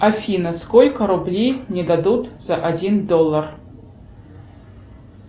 афина сколько рублей мне дадут за один доллар